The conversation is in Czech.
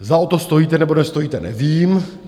Zda o to stojíte, nebo nestojíte, nevím.